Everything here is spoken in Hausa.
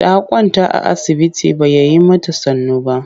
Ta kwanta a asibiti ba ya yi mata sannu.